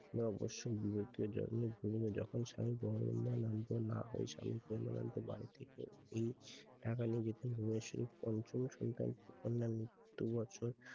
নয় বৎসর বিয়েতে যখন জন্ম গ্রহণ না হয়ে যখন সময় এই টাকা নিয়ে যেতেন ধলেশ্বরী পঞ্চম সন্তানের মৃত্যু বছর